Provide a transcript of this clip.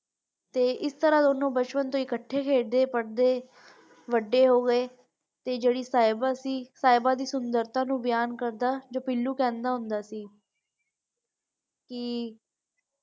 ਤੇ ਤਰਾਹ ਦੋਨੋ ਬਚਪਨ ਤੋਂ ਇਕੱਠੇ ਖੇਲਦੇ ਪੜਦੇ ਵੱਡੇ ਹੋ ਗਏ ਤੇ ਜਿਹੜੀ ਸਾਹਿਬਾ ਸੀ ਸਾਹਿਬਾ ਦੀ ਸੁੰਦਰਤਾ ਨੂੰ ਬਿਆਨ ਕਰਦਾ ਤੇ ਪੀਲੂ ਕਹਿੰਦਾ ਹੁੰਦਾ ਸੀ ਕਿ।